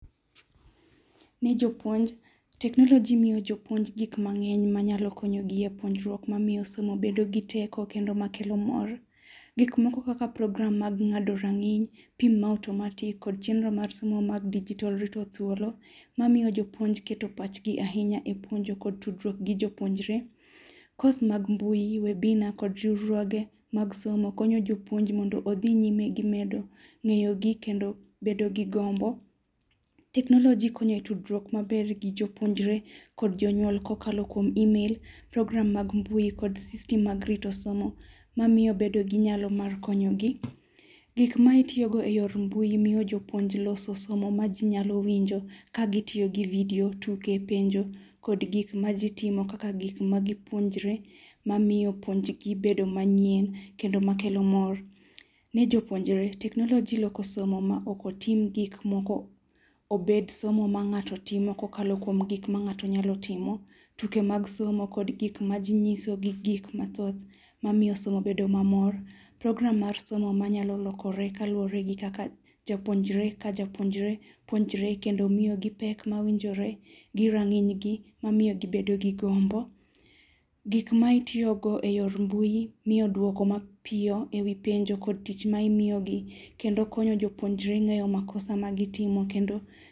Ni jopuonj, teknoloji miyo jopuonj gik mang'eny manyalo konyohi e puonjruok mamiyo somo bedo gi teko kendo makelo mor. Gik moko kaka [çs]program mag ng'ado rang'iny, tim ma [cs[ automati kod chenro mar somo mar dijitol rito thuolo mamiyo jopuonj keto pachgi e puonj kod tudruok gi jo puonjre. Course mag mbui, webinar kod riwruoge mag somo konyo jopuonj mondo odhi nyime gi medo ng'eyo gi kendo bedo gi gombo. Teknoloji konyo e tudruok maber gi jopuonjre kod jonyuol kokalo kuom email, program mag mbui kod system mag rito somo mamiyo bedo gi nyalo mar konyogi. Gik ma itiyo go e yor mbui miyo jopuonj loso somo maji nyalo winjo ka gitiyo gi video tuke, penjo kod gik majitimo kaka gik magipuonjre mamiyo puonjgi bedo manyien kendo makelo mor.